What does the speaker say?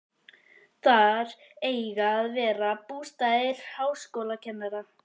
Þar eiga að verða bústaðir háskólakennara.